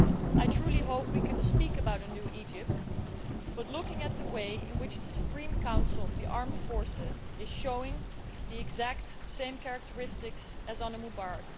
I truly hope we can speak about a new Egypt, but I worry about the way in which the Supreme Council of the armed forces is showing the exact same characteristics as under Mubarak.